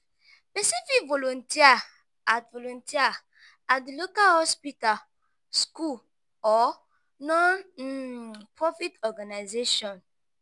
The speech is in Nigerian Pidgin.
pesin fit volunteer at volunteer at di local hospital school or non-profit organization.